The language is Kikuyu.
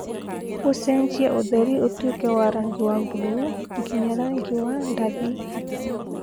ũcenjia ũtheri ũtuĩke wa rangi wa buluu nginya rangi wa ndathi